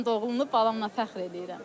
Mən doğduğum balamla fəxr eləyirəm.